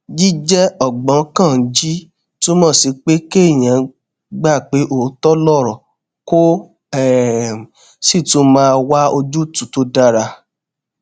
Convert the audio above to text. jíjé ògbóǹkangí túmò sí pé kéèyàn gbà pé òótó lòrò kó um sì tún máa wá ojútùú tó dára